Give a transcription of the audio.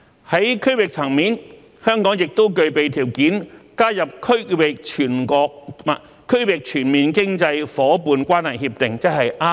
在區域層面，香港亦具備條件加入《區域全面經濟夥伴關係協定》。